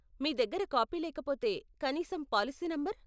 మీ దగ్గర కాపీ లేకపోతే, కనీసం పాలసీ నంబర్.